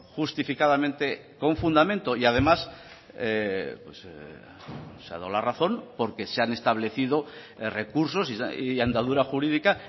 justificadamente con fundamento y además se ha dado la razón porque se han establecido recursos y andadura jurídica